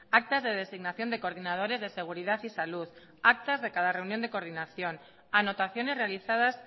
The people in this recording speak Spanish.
actas de designación de coordinadores de seguridad y salud actas de cada reunión de coordinación anotaciones realizadas